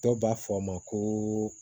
Dɔw b'a fɔ a ma ko